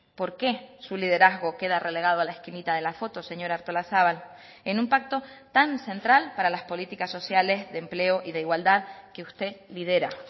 por qué su liderazgo queda relegado a la esquinita de la foto señora artolazabal en un pacto tan central para las políticas sociales de empleo y de igualdad que usted lidera